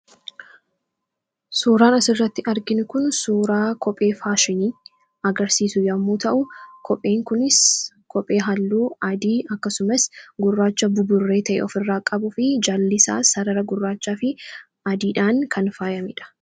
suuraan asirratti arginu kun suuraa kophee faashinii agarsiisu yommuu ta'u kopheen kunis kophee halluu adii akkasumas gurraacha buburree ta'ee of irraa qabuu fi jaallisaa sarara gurraachaa fi adiidhaan kan faayamedha.